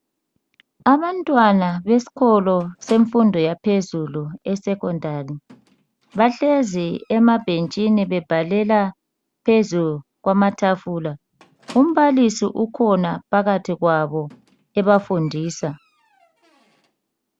Abantwana besikolo semfundo yaphezulu esecondary. Bahlezi emabhentshini bebhalela phezu kwamatafula .Umbalisi ukhona phakathi kwabo ebafundisa .